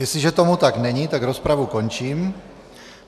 Jestliže tomu tak není, tak rozpravu končím.